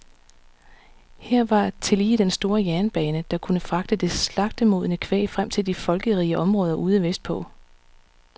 Her var tillige den store jernbane, der kunne fragte det slagtemodne kvæg frem til de folkerige områder ude vestpå.